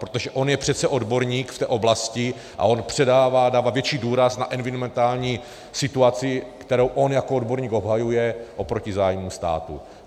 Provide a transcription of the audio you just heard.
Protože on je přece odborník v té oblasti a on předává, dává větší důraz na environmentální situaci, kterou on jako odborník obhajuje oproti zájmu státu.